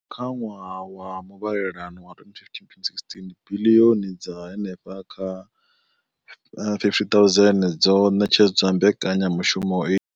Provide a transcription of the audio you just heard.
Kha ṅwaha wa muvhalelano wa 2015,16, biḽioni dza henefha kha 50 000 dzo ṋetshedzwa mbekanyamushumo iyi.